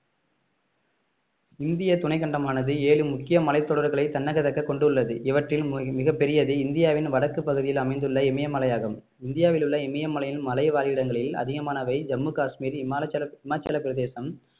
இந்திய துணைக்கண்டமானது ஏழு முக்கிய மலைத்தொடர்களை தன்னகதக்க கொண்டுள்ளது இவற்றில் மி~ மிகப்பெரியது இந்தியாவின் வடக்கு பகுதியில் அமைந்துள்ள இமயமலையாகும் இந்தியாவில் உள்ள இமயமலையின் மலைவாழ் இடங்களில் அதிகமானவை ஜம்மு காஷ்மீர் ஹிமாச்சலம் ஹிமாச்சல பிரதேசம்